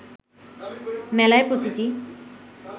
মেলায় প্রতিটি